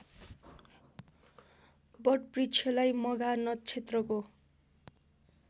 वटवृक्षलाई मघा नक्षत्रको